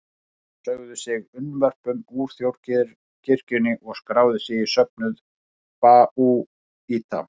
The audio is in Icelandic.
Menn sögðu sig unnvörpum úr þjóðkirkjunni og skráðu sig í söfnuð babúíta.